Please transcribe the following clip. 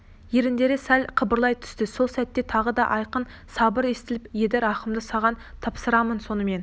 еріндері сәл қыбырлай түсті сол сәтте тағы да айқын сыбыр естіліп еді рахымды саған тапсырамын сонымен